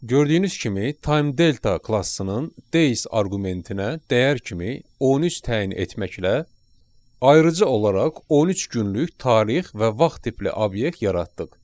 Gördüyünüz kimi Time Delta klassının days arqumentinə dəyər kimi 13 təyin etməklə ayırıcı olaraq 13 günlük tarix və vaxt tipli obyekt yaratdıq.